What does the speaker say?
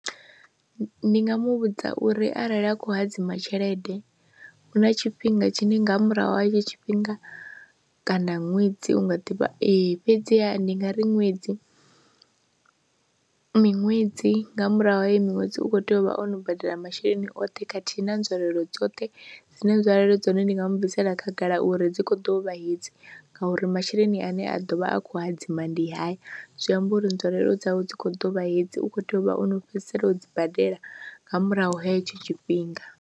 Ndi nga mu vhudza uri arali a khou hadzima tshelede hu na tshifhinga tshine nga murahu ha hetshi tshifhinga kana ṅwedzi u nga ḓivha ee fhedziha ndi nga ri ṅwedzi, miṅwedzi nga murahu ha miṅwedzi u khou tea u vha o no badela masheleni oṱhe khathihi na nzwalelo dzoṱhe, dzine nzwalelo dza hone ndi nga mu bvisela khagala uri dzi khou ḓo u vha hedzi ngauri masheleni ane a ḓo vha a khou hadzima ndi haya, zwi amba uri nzwalelo dzawe dzi khou ḓo vha hedzi, u khou tea u vha o no fhedzisela u dzi badela nga murahu ha hetsho tshifhinga.